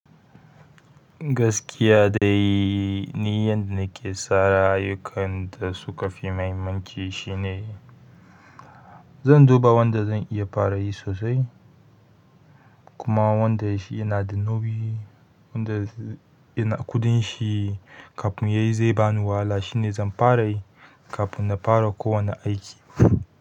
Gaskiya dai ni yanda na ke tsara ayyukan da suka fi mahimmanci shine. Zan duba wanda zan iya para yi sosai, kuma wanda shi yana da nauyi wanda kuɗin shi kafun yayi zai bani wahala shine zan para yi kafun na para ko wani aiki.